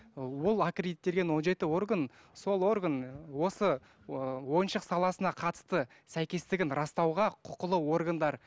ы ол аккредиттелген он жеті орган сол орган осы ы ойыншық саласына қатысты сәйкестігін растауға құқылы органдар